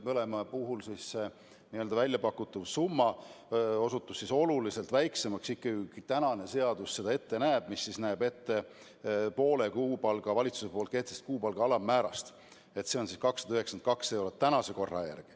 Mõlema puhul väljapakutud summa osutus ikkagi oluliselt väiksemaks, kui tänane seadus ette näeb – see näeb ette poole kuupalga, st valitsuse kehtestatud kuupalga alammäärast, mis on tänase korra järgi 292 eurot.